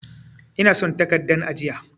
Ina son takaddan ajiya.